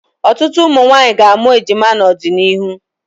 Ọtụtụ ụmụnwaanyị ga-amụ ejima n'ọdịnihu.